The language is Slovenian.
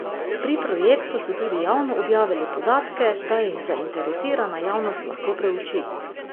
Pri projektu so tudi javno objavili podatke, da jih zainteresirana javnost lahko preuči.